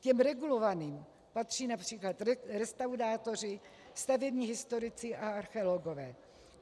K těm regulovaným patří například restaurátoři, stavební historici a archeologové.